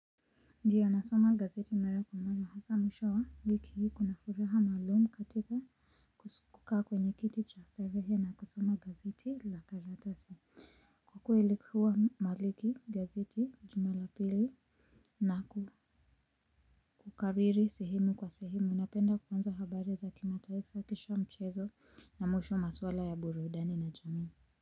Ndiyo nasoma gazeti mara kwa mara hasa mwisho wa wiki hii kuna furaha maalum katika kusukaa kwenye kiti cha starehe na kusoma gazeti la karatasi. Kwa kweli ilikuwa maliki gazeti juma la pili na kukariri sehemu kwa sehemu napenda kwanza habari za kimataifa kisha mchezo na mwisho maswala ya burudani na jamii.